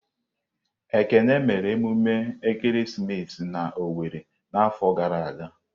Ekene mere emume ekeresimesi na Owere n'afọ gara aga.